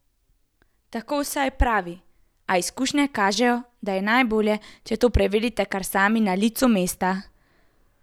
Tako vsaj pravi, a, izkušnje kažejo, da je najbolje, če to preverite kar sami na licu mesta.